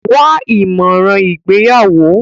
Wá ìmọ̀ràn ìgbéyàwó.